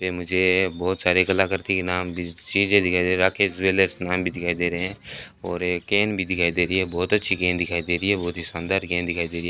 ये मुझे बहोत सारे कलाकृति नाम भी चीजें दिखाइ दे रही राकेश ज्वेलर्स नाम भी दिखाई दे रहे है और ये केन भी दिखाई दे रही है बहोत अच्छी केन दिखाई दे रही है बहोत ही शानदार केन दिखाइ दे रही है।